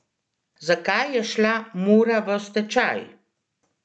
Zakaj je šla Mura v stečaj?